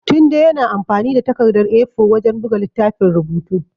Tunde yana amfani da takardar A4 wajen buga littafin rubutu.